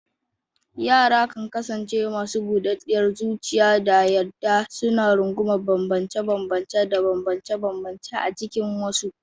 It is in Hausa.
Yara kan kasance masu budaddiyar zuciya da yarda, suna rungumar bambance-bambance da banbance-banbance a cikin wasu.